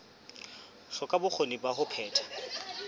hloka bokgoni ba ho phetha